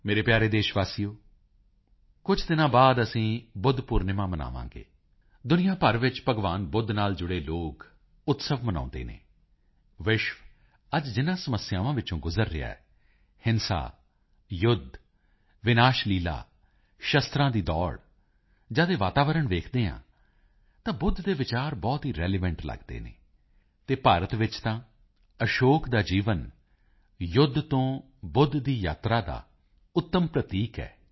ਮੇਰੇ ਪਿਆਰੇ ਦੇਸ਼ ਵਾਸੀਓ ਕੁਝ ਦਿਨਾਂ ਬਾਅਦ ਅਸੀਂ ਬੁੱਧ ਪੂਰਨਿਮਾ ਮਨਾਵਾਂਗੇ ਦੁਨੀਆਂ ਭਰ ਵਿੱਚ ਭਗਵਾਨ ਬੁੱਧ ਨਾਲ ਜੁੜੇ ਲੋਕ ਉਤਸਵ ਮਨਾਉਂਦੇ ਹਨ ਵਿਸ਼ਵ ਅੱਜ ਜਿਨਾਂ ਸਮੱਸਿਆਵਾਂ ਵਿੱਚੋਂ ਗੁਜ਼ਰ ਰਿਹਾ ਹੈ ਹਿੰਸਾ ਯੁੱਧ ਵਿਨਾਸ਼ਲੀਲਾ ਸ਼ਸਤਰਾਂ ਦੀ ਦੌੜ ਜਦ ਇਹ ਵਾਤਾਵਰਨ ਵੇਖਦੇ ਹਾਂ ਤਾਂ ਬੁੱਧ ਦੇ ਵਿਚਾਰ ਬਹੁਤ ਹੀ ਰਿਲੀਵੈਂਟ ਲੱਗਦੇ ਹਨ ਅਤੇ ਭਾਰਤ ਵਿੱਚ ਤਾਂ ਅਸ਼ੋਕ ਦਾ ਜੀਵਨ ਯੁੱਧ ਤੇ ਬੁੱਧ ਦੀ ਯਾਤਰਾ ਦਾ ਉੱਤਮ ਪ੍ਰਤੀਕ ਹੈ